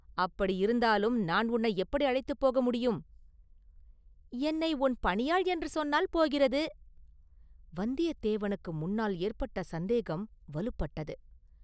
“அப்படியிருந்தாலும் நான் உன்னை எப்படி அழைத்துப் போக முடியும்?” “என்னை உன் பணியாள் என்று சொன்னால் போகிறது.” வந்தியத்தேவனுக்கு முன்னால் ஏற்பட்ட சந்தேகம் வலுப்பட்டது.